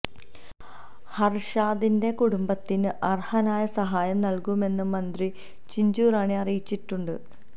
ഹര്ഷാദിന്റെ കുടുംബത്തിന് അര്ഹമായ സഹായം നല്കുമെന്ന് മന്ത്രി ചിഞ്ചു റാണി അറിയിച്ചിട്ടുണ്ട്